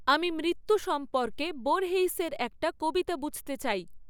আমি মৃত্যু সম্পর্কে বোর্হেইসের একটি কবিতা বুঝতে চাই